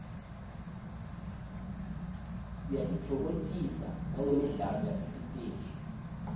siyatitfokotisa nagemidlalo yasesiteji